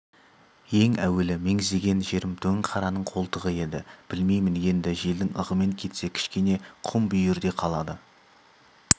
ең әуелі меңзеген жерім дөңқараның қолтығы еді білмеймін енді желдің ығымен кетсе кішкене құм бүйірде қалады